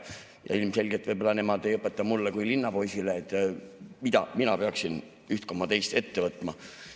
Ja ilmselgelt nemad ei õpeta mulle kui linnapoisile, mida mina peaksin ette võtma.